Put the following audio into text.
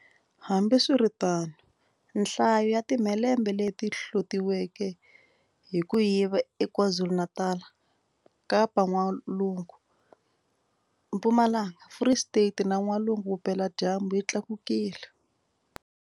Hambiswiritano, nhlayo ya timhelembe leti hlotiweke hi ku yiva eKwaZulu-Natal, Kapa-N'walungu, Mpumalanga, Free State na N'walungu-Vupeladyambu yi tlakukile.